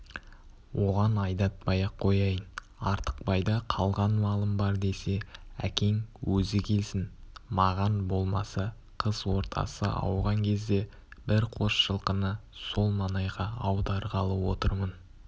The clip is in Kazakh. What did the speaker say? оған айдатпай-ақ қояйын артықбайда қалған малым бар десе әкең өзі келсін маған болмаса қыс ортасы ауған кезде бір қос жылқыны сол маңайға аударғалы отырмын